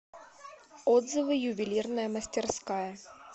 отзывы ювелирная мастерская